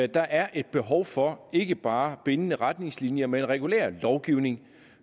der er et behov for ikke bare bindende retningslinjer men regulær lovgivning